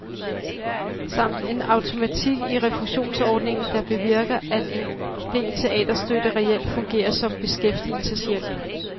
Samt en automatik i refusionsordningen, der bevirker, at en del teaterstøtte reelt fungerer som beskæftigelseshjælp.